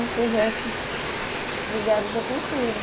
Em projetos ligados à cultura.